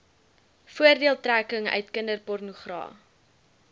voordeeltrekking uit kinderpornogra